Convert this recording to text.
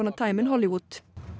time in Hollywood